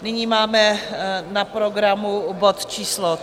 Nyní máme na programu bod číslo